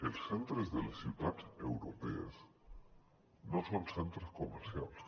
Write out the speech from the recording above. els centres de les ciutats europees no són centres comercials